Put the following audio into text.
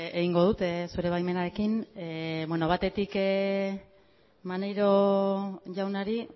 egingo dut zure baimenarekin batetik maneiro jaunari